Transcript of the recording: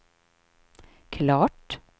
klart